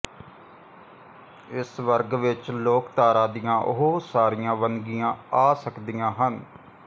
ਇਸ ਵਰਗ ਵਿਚ ਲੋਕਧਾਰਾ ਦੀਆਂ ਉਹ ਸਾਰੀਆਂ ਵੰਨਗੀਆਂ ਆ ਸਕਦੀਆਂ ਹਨ